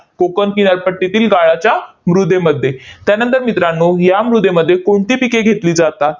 कोकण किनारपट्टीतील गाळाच्या मृदेमध्ये. त्यानंतर मित्रांनो, या मृदेमध्ये कोणती पिके घेतली जातात?